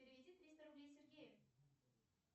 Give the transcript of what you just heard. переведи триста рублей сергею